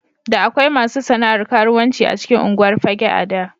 Da akwai masu sana'ar karuwanci a cikin unguwar Fagge a da.